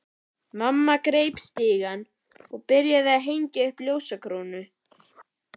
Mamma greip stiga og byrjaði að hengja upp ljósakrónu.